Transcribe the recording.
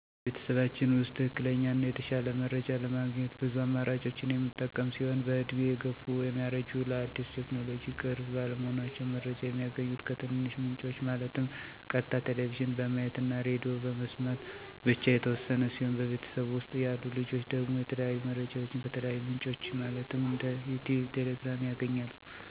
በቤተሰባችን ውስጥ ትክክለኛ እና የተሻለ መረጃ ለማግኘት ብዙ አማራጮችን የምንጠቀም ሲሆን በእድሜ የገፉት (ያረጁት) ለአዳዲስ ቴክኖሎጅዎች ቅርብ ባለመሆናቸው። መረጃ የሚያገኙት ከትንንሽ ምንጮች ማለትም ቀጥታ ቴሌቭዥን በማየት እና ሬድዬ በመስማት ብቻ የተወሰነ ሲሆን በቤተሰብ ውስጥ ያሉ ልጆች ደግሞ የተለያዩ መረጃዎችን ከተለያዩ ምንጮች ማለትም እንደ ዩቲዩብ: ቴሌግራም: ቲክቶክ እና ሌሎች አማራጭ በማየት ከሽማግሌዎች በተሻለ ጥሩ መረጃዎች ስለሚያገኙ በቤት ውስጥ የተሻለ የውይይት መድረክ ይፈጠራል። መጥፎ ጎኑን ስናይ ደግሞ ረዥም ሰአት ቴክኖሎጂ ጋር በመቀመጥ ለስራ እና ለትምህርት ትኩረት አለመስጠት እና ከቤተሰብ ጋር ያለ ቁርኝት አነስተኛ መሆን እና ለልጆች ጎጅ የሆኑ እንደ ቁማር እና ብልግናዎችን ተጋላጭ ያደርጋል።